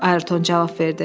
Ayrton cavab verdi.